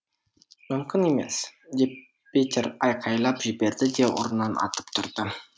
мүмкін емес деп петер айқайлап жіберді де орнынан атып тұрды